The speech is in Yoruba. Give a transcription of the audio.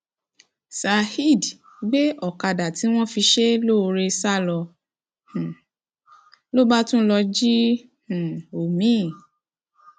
saheed gbé ọkadà tí wọn fi ṣe é lóore sá lọ um ló bá tún lọọ jí um omi